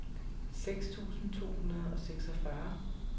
seks tusind to hundrede og seksogfyrre